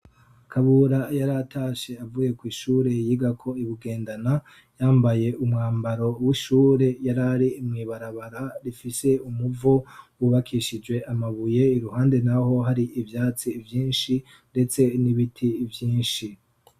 Kabura yaratashe avuye kw'ishure yigako I bugendana yambaye umwambaro w'ishure yari ari mwibarabara rifise umuvo wubakishije amabuye iruhande naho hari ivyatsi vyinshi ndetse n'ibiti vyinshi.